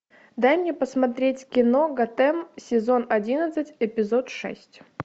дай мне посмотреть кино готэм сезон одиннадцать эпизод шесть